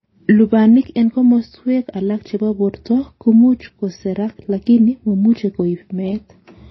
Lubanik en komoswek alak chebo borto komuch koserak lakini momuche koib meet.